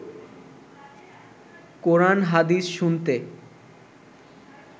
কোরান হাদিস শুনতে